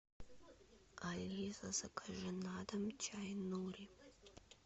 алиса закажи на дом чай нури